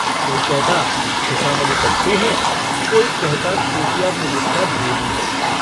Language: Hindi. कोई कहता खुशामदी टट्टू है कोई कहता खुफिया पुलिस का भेदी है।